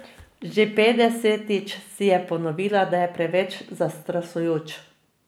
Že petdesetič si je ponovila, da je preveč zastrašujoč.